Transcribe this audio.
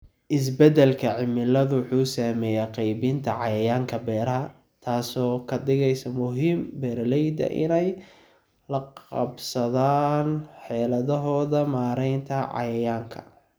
Isbeddelka cimiladu wuxuu saameeyaa qaybinta cayayaanka beeraha, taasoo ka dhigaysa muhiim beeralayda inay la qabsadaan xeeladahooda maaraynta cayayaanka.